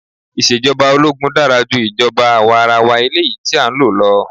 Ìṣèjọba ológun dára ju ìjọba àwarawa eléyìí tí a ń lò lọ.